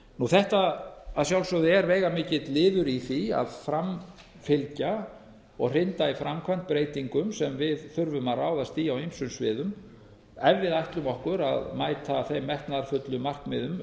þetta er að sjálfsögðu veigamikill liður í því að framfylgja og hrinda í framkvæmd breytingum sem við þurfum að ráðast í á ýmsum sviðum ef við ætlum okkur að mæta þeim metnaðarfullu markmiðum